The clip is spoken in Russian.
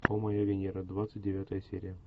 о моя венера двадцать девятая серия